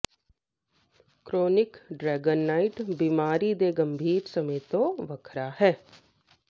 chronic ਡਰੈਗਨਾਈਟ ਬਿਮਾਰੀ ਦੇ ਗੰਭੀਰ ਸਮੇਂ ਤੋਂ ਵੱਖਰਾ ਹੈ